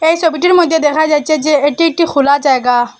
এই ছবিটির মদ্যে দেখা যাচ্ছে যে এটি একটি খোলা জায়গা।